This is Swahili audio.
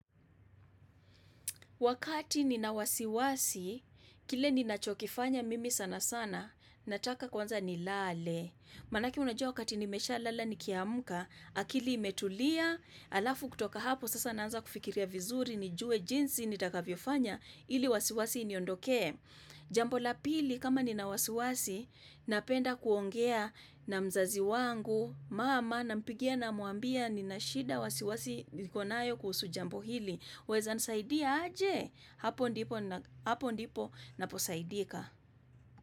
Wakati ni na wasiwasi, kile ni nachokifanya mimi sana sana, nataka kwanza ni lale. Manake unajua wakati nimesha lala nikiamka, akili imetulia, alafu kutoka hapo, sasa naanza kufikiria vizuri, nijue jinsi, nitakavyo fanya, ili wasiwasi iniondokee. Jambo la pili, kama ni na wasiwasi, napenda kuongea na mzazi wangu, mama, nampigia namwambia, nina shida wasiwasi, nikonayo kuhusu jambo hili. Waeza nisaidia aje, hapo ndipo naposaidika.